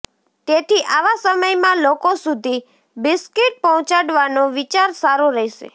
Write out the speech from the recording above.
તેથી આવા સમયમાં લોકો સુધી બિસ્કિટ પહોંચાડવાનો વિચાર સારો રહેશે